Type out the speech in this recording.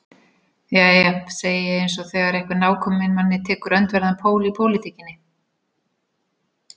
Jæja, segi ég eins og þegar einhver nákominn manni tekur öndverðan pól í pólitíkinni.